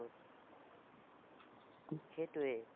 সেটোৱেই